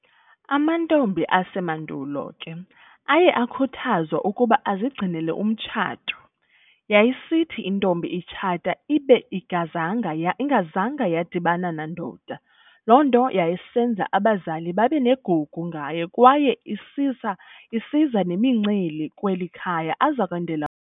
Amantombi ase madulo ke aye khuthazwa ukuba azigcinele umtshato, yayisithi intombi itshata ibe igazanga yadibana nandoda, lonto yayisenza abazali babenegugu ngayo kwaye izisa nemincili kweli- khaya azokwendela kulo.